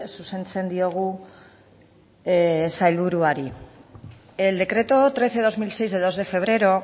zuzentzen diogu sailburuari el decreto trece barra dos mil seis de dos de febrero